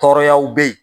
Tɔɔrɔyaw bɛ yen